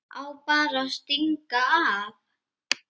Á bara að stinga af.